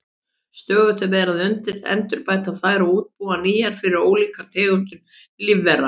Stöðugt er verið að endurbæta þær og útbúa nýjar fyrir ólíkar tegundir lífvera.